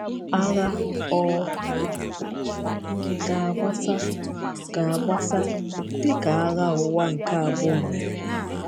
Agha ọ̀ ga-agbasa, ga-agbasa, dị ka Agha Ụwa nke Abụọ mere?